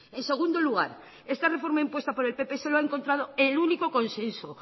en segundo lugar esta reforma impuesta por el pp solo ha encontrado el único consenso